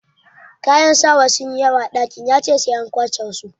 Kayan sawa sun yi yawa a dakin, ya ce sai an kwashe wasu.